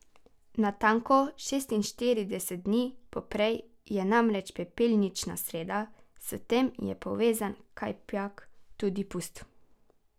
Natanko šestinštirideset dni poprej je namreč pepelnična sreda, s tem je povezan kajpak tudi pust.